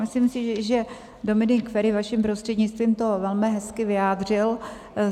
Myslím si, že Dominik Feri vaším prostřednictvím to velmi hezky vyjádřil.